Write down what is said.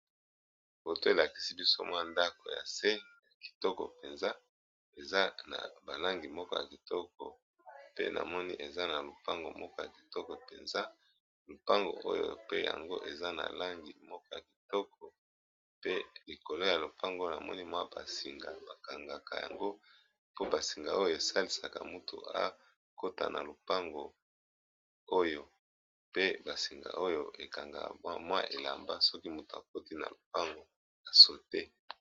Foto oyo elakisi biso ndako ya se ya kitoko eza na balangi kitoko na lopango ya kitoko pe likolo ya lopango namoni singa asalisaka mutu soki akoti na lopango oyo pe basinga oyo ekanga mutu soki akoti na lopango a sauter.